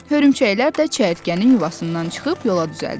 Hörümçəklər də çəyirtkənin yuvasından çıxıb yola düzəldilər.